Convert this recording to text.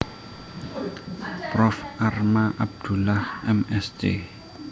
Prof Arma Abdullah M Sc